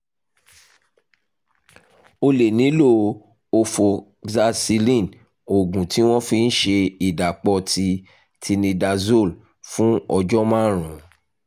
o lè nílò ofoxacilin oògùn tí wọ́n fi ń ń ṣe ìdàpọ̀ ti tinidazole fún ọjọ́ márùn-ún